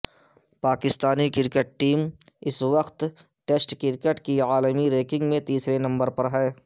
Pakistani team اس وقت test cricket کی عالمی رینکنگ میں تیسرے نمبر پر ہے